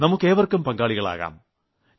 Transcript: നമുക്ക് ഏവർക്കും പങ്കാളികളാകാം